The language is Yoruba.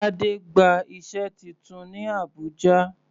Tade gba iṣẹ́ titun ní Abùjá.